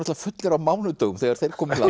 fullir á mánudögum þegar þeir komu